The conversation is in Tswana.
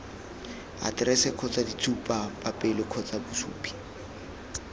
aterese kgotsa ditshupapele kgotsa bosupi